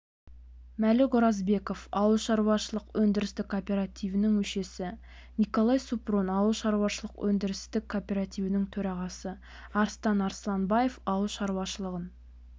мәлік оразбеков ауылшаруашылық өндірістік кооперативінің мүшесі николай супрун ауылшаруашылық өндірістік кооперативінің төрағасы арыстан арсланбаев ауыл шаруашылығын